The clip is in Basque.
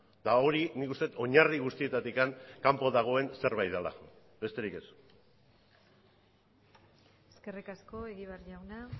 eta hori nik uste dut oinarri guztietatik kanpo dagoen zerbait dela besterik ez eskerrik asko egibar jauna